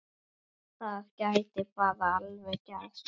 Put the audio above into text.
Það gæti bara alveg gerst!